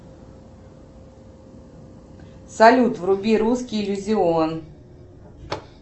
салют вруби русский иллюзион